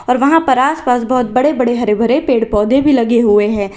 और वहां पर आस पास बहोत बड़े बड़े हरे भरे पेड़ पौधे भी लगे हुए हैं।